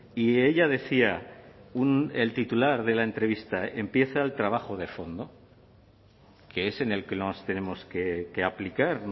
y ella decía el titular de la entrevista empieza el trabajo de fondo que es en el que nos tenemos que aplicar